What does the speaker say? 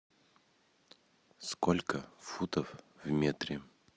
сколько футов в метре